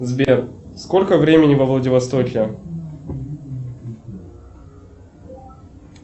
сбер сколько времени во владивостоке